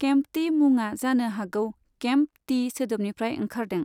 केम्पटि मुङा जानो हागौ 'केम्प टि' सोदोबन्निफ्राय ओंखारदों।